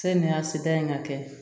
in ka kɛ